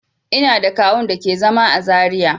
Ina da kawu'n da ke zama à Zaria.